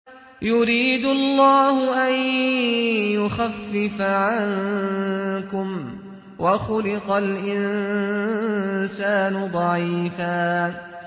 يُرِيدُ اللَّهُ أَن يُخَفِّفَ عَنكُمْ ۚ وَخُلِقَ الْإِنسَانُ ضَعِيفًا